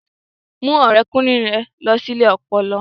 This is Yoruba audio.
Mú ọ̀rẹ́kùnrin rẹ lọ sí ilé ọpọlọ